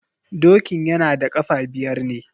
Dokin yana da kafa biyar ne.